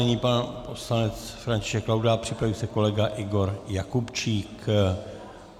Nyní pan poslanec František Laudát, připraví se kolega Igor Jakubčík.